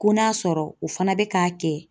Ko n'a sɔrɔ o fana bɛ k'a kɛ